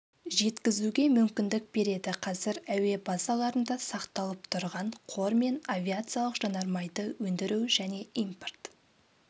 жеткізуге мүмкіндік береді қазір әуе базаларында сақталып тұрған қор мен авиациялық жанармайды өндіру және импорт